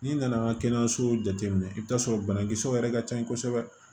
N'i nana an ka kɛnɛyasow jateminɛ i bɛ taa sɔrɔ banakisɛw yɛrɛ ka ca kosɛbɛ